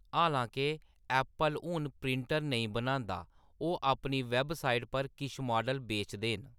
हालांके ऐप्पल हून प्रिंटर नेईं बनांदा, ओह्‌‌ अपनी वैबसाइट पर किश मॉडल बेचदे न।